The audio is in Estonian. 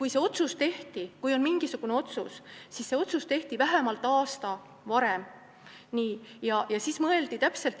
Ikkagi, kui mõni selline otsus tehti, siis see tehti vähemalt aasta varem.